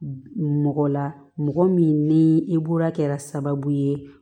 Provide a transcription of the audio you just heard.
Mɔgɔ la mɔgɔ min ni e bolo kɛra sababu ye